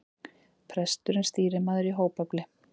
Presturinn stýrimaður í hópefli.